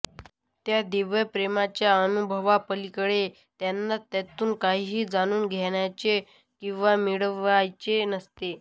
त्या दिव्या प्रेमाच्या अनुभवापलीकडे त्यांना त्यातून काहीही जाणून घ्यायचे किंवा मिळवायचे नसते